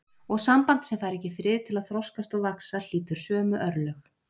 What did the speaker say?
Og samband sem fær ekki frið til að þroskast og vaxa hlýtur sömu örlög.